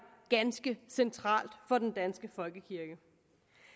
ganske centralt for den danske folkekirke